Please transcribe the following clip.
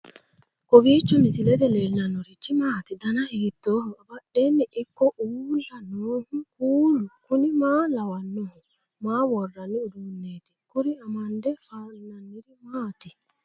kowiicho misilete leellanorichi maati ? dana hiittooho ?abadhhenni ikko uulla noohu kuulu kuni maa lawannoho? maa worranni uduunneeti kuri amande fannanniri maati ?